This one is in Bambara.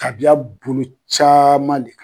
Kabiya bolo caman de kan.